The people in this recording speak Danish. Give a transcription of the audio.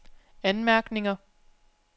anmærkninger